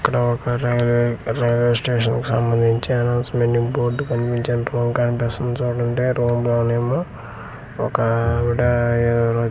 ఇక్కడ ఒక railway railway station కి సంబందించి అనౌన్స్మెంట్ బోర్డు కనిపించే కనిపిస్తుంది చూడండి రూం లో నేమ్ ఒక అఅ ఆవిడ ఎదురు చూస్తున్--